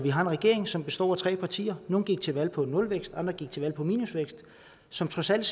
vi har en regering som består af tre partier nogle gik til valg på nulvækst andre gik til valg på minusvækst som trods alt